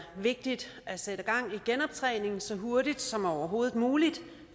vigtigt at sætte gang i genoptræningen så hurtigt som overhovedet muligt